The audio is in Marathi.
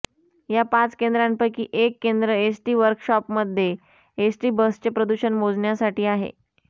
या पाच केंद्रांपैकी एक केंद्र एसटी वर्कशॉपमध्ये एसटी बसचे प्रदूषण मोजण्यासाठी आहे